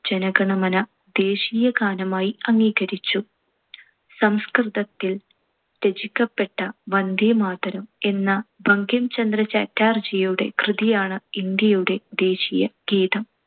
ജനഗണമന ദേശീയഗാനമായി അംഗീകരിച്ചു. സംസ്കൃതത്തിൽ രചിക്കപ്പെട്ട വന്ദേമാതരം എന്ന ബങ്കിം ചന്ദ്ര ചാറ്റർജിയുടെ കൃതിയാണ് ഇന്ത്യയുടെ ദേശീയ ഗീതം.